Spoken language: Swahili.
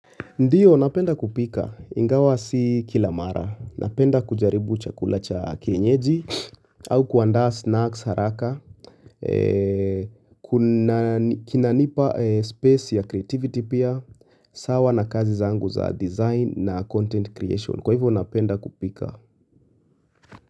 Ndiyo napenda kupika. Ingawa si kilamara. Napenda kujaribu chakula cha kienyeji au kuandaa snacks haraka. Kina nipa space ya creativity pia. Sawa na kazi zangu za design na content creation. Kwa hivyo napenda kupika.